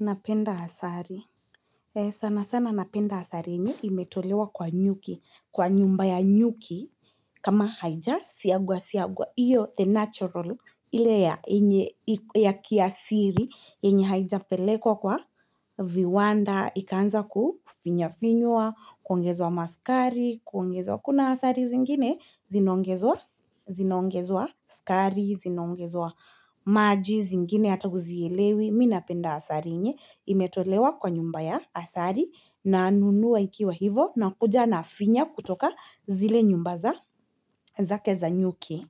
Napenda asali. Sana sana napenda asali yenye imetolewa kwa nyuki. Kwa nyumba ya nyuki kama haija siagwa siagwa. Iyo the natural ili ya kiasiri yenye haija pelekwa kwa viwanda. Ikaanza kufinyafinywa, kuongezwa maskari, kuongezwa kuna asari zingine, zinaongezwa skari, zinaongezwa maji zingine, hata huzielewi, mi napenda asari yenye. Imetolewa kwa nyumba ya asari nanunua ikiwa hivo nakuja nafinya kutoka zile nyumba za zake za nyuki.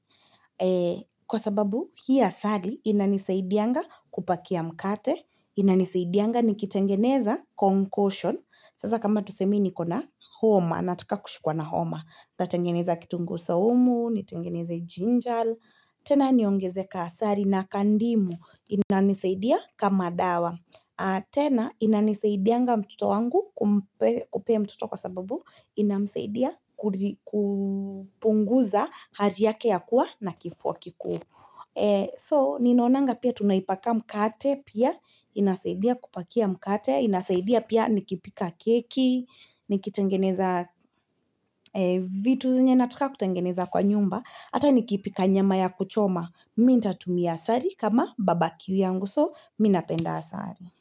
Kwa sababu hii asali inanisaidianga kupakia mkate Inanisaidianga nikitengeneza concussion Sasa kama tuseme niko na homa Nataka kushikuwa na homa Natengeneza kitunguu saumu, nitengeneza jinjal tena niongeze kaa asali na kandimu inanisaidia kama dawa tena inanisaidianga mtoto wangu kupea mtuto kwa sababu ina msaidia kupunguza hari yake ya kuwa na kifuwa kiku. So, ninaonanga pia tunaipaka mkate pia, inasaidia kupakia mkate, ina saidia pia nikipika keki, nikitengeneza vitu zenye nataka kutengeneza kwa nyumba, ata nikipika nyama ya kuchoma. Mi ntatumia asari kama babaki yangu, so mi napenda asari.